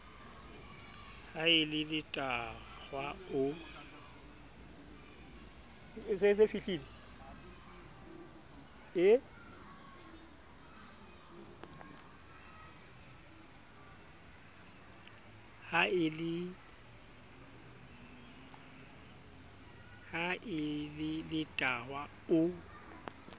ha e le letahwa o